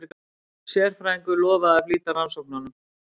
Sérfræðingurinn lofaði að flýta rannsóknunum.